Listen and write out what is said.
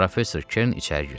Professor Kern içəri girdi.